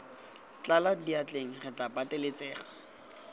tlala diatleng re tla pateletsega